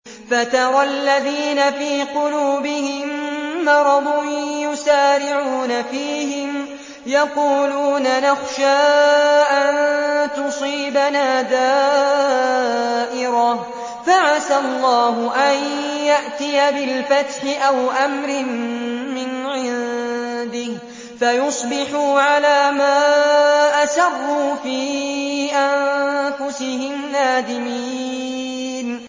فَتَرَى الَّذِينَ فِي قُلُوبِهِم مَّرَضٌ يُسَارِعُونَ فِيهِمْ يَقُولُونَ نَخْشَىٰ أَن تُصِيبَنَا دَائِرَةٌ ۚ فَعَسَى اللَّهُ أَن يَأْتِيَ بِالْفَتْحِ أَوْ أَمْرٍ مِّنْ عِندِهِ فَيُصْبِحُوا عَلَىٰ مَا أَسَرُّوا فِي أَنفُسِهِمْ نَادِمِينَ